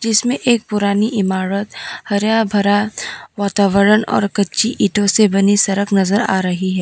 जिसमें एक पुरानी इमारत हरा भरा वातावरण और कच्ची ईटों से बनी सड़क नजर आ रही है।